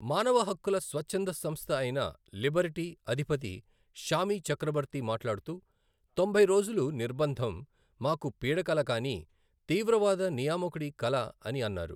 మానవ హక్కుల స్వచ్ఛంద సంస్థ అయిన లిబర్టీ అధిపతి షామీ చక్రబర్తి మాట్లాడుతూ, తొంభై రోజులు నిర్బంధం, మాకు పీడకల కానీ తీవ్రవాద నియామకుడి కల అని అన్నారు.